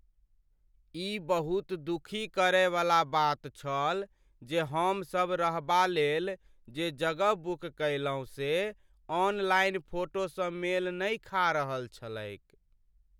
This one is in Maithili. ई बहुत दुखी करयवला बात छल जे, हमसभ रहबालेल जे जगह बुक कयलहुँ से ऑनलाइन फोटोसँ मेल नहि खा रहल छलैक।